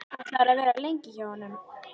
Ætlarðu að vera lengi hjá honum?